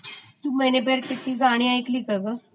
मैने प्यार कीया ची गाणी ऐकलिस का ग?